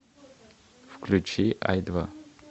включи ай два